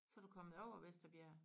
Så du kommet over Vesterbjerg